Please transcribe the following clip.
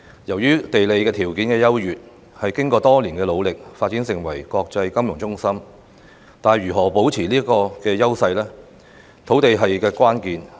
由於地理條件優越，經過多年努力下發展成為國際金融中心，但如何可以保持這個優勢，土地便是關鍵。